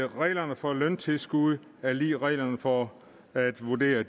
reglerne for løntilskud er lig med reglerne for at vurdere